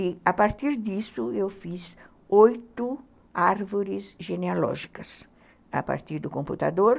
E, a partir disso, eu fiz oito árvores genealógicas, a partir do computador.